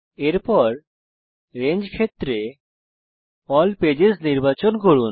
এরপর রেঞ্জ ক্ষেত্রে ALL pages নির্বাচন করুন